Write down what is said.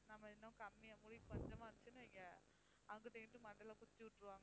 நாம இன்னும் கம்மியா முடி கொஞ்சமா இருந்துச்சுன்னு வையுங்க அங்கிட்டும் இங்கிட்டும் மண்டையில குத்தி விட்ருவாங்க